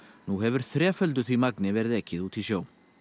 nú hefur þreföldu því magni verið ekið út í sjó